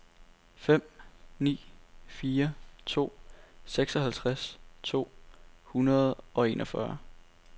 fem ni fire to seksoghalvtreds to hundrede og enogfyrre